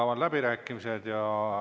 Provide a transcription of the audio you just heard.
Avan läbirääkimised.